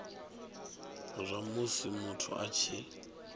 zwa musi muthu a tshi